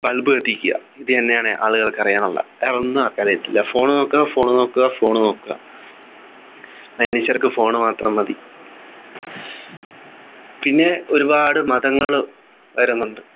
bulb കത്തിക്കുക ഇതുതന്നെയാണ് ആളുകൾക്കു അറിയാനുള്ള വേറൊന്നും ആളുകൾക്ക് അറിയത്തില്ല Phone നോക്കുക Phone നോക്കുക Phone നോക്കുക ക്ക് Phone മാത്രം മതി പിന്നെ ഒരുപാട് മതങ്ങള് വരുന്നുണ്ട്